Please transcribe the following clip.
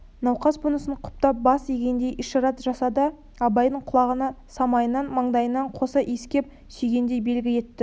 науқас бұнысын құптап бас изегендей ишарат жасады да абайды құлағынан самайынан маңдайынан қоса иіскеп сүйгендей белгі етті